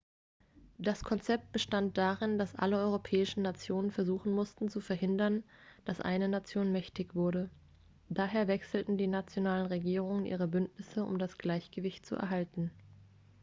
das konzept bestand darin dass alle europäischen nationen versuchen mussten zu verhindern dass eine nation mächtig würde daher wechselten die nationalen regierungen ihre bündnisse um das gleichgewicht zu erhalten